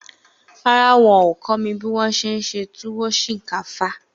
Rárá, wọn ò kọ́ mi bí wọn se e se túwó sìnkáfá